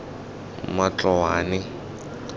matloane